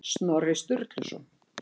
Snorri Sturluson.